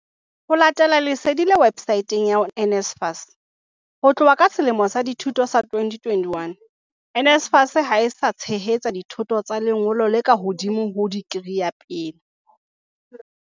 Ho latela lesedi le websaeteng ya NSFAS, ho tloha ka selemo sa dithuto sa 2021, NSFAS ha e sa tshehetsa dithuto tsa lengolo le ka hodimo ho dikri ya pele.